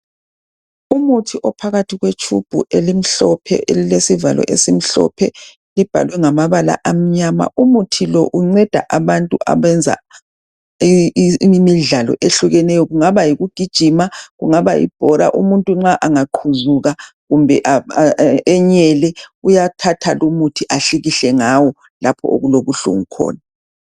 Umuthi ophakathi kwetshubhu elimhlophe elile sivalo esimhlophe kubhalwe ngamabala amnyama. Umuthi lo unceda abantu abenza imidlalo ehlukeneyo kungaba yikugijima kungaba yibhora. Umuntu angaqhuzuka kumbe anyele uyathatha lumuthi ahlikihle ngawo lapho okulo buhlungu khona.